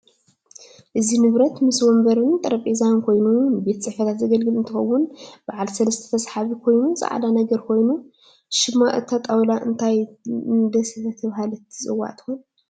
እዚ ንብረት ምስ ወንበረን ጠረበዛን ኮይነን ንቤት ፅሕፈታት ዝግልግል እንትከውን በዓል ሰለስተ ተሳሓቢ ኮይኑ ፃዕዳ ነገር ኮይኑ ሽም እታ ጣውላ እንታይ ደተበሃለት ትፅዋዕ ትኮን?